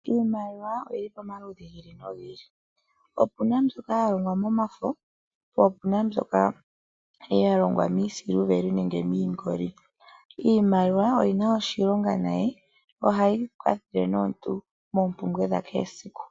Iimaliwa oyi li pamaludhi gi ili nogi ili. Opu na mbyoka ya longwa momafo, po opu na mbyoka ya longwa miisiliveli nenge miingoli. Iimaliwa oyi na oshilonga nayi. Ohayi kwathele nomuntu moompumbwe dha kehe esiku.